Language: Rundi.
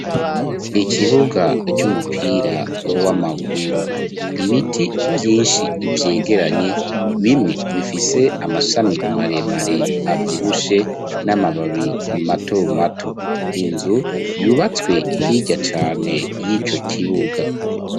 Ikibuga c'umupira w'amaguru. Ibiti vyinshi vyegeranye, bimwe bifise amashami maremare avyibushe n'amababi matomato. Inzu yubatswe hirya cane y'ico kibuga.